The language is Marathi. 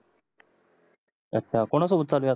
अच्छा कोना सोबत चालू आहे आता